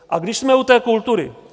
A když jsme u té kultury.